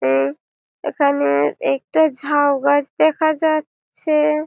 এ এইখানে একটা ঝাউ গাছ দেখা যাচ্ছে-এ--